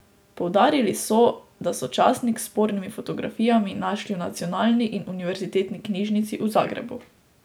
Poudarili so, da so časnik s spornimi fotografijami našli v nacionalni in univerzitetni knjižnici v Zagrebu.